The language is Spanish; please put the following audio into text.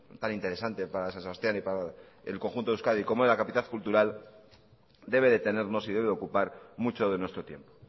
tan interesante para san sebastián y para el conjunto de euskadi como es la capital cultural debe de tenernos y debe ocupar mucho de nuestro tiempo